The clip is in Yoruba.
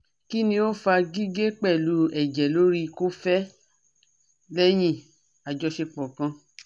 Kini o fa gige pelu eje lori kofe lehin ajosepo kan?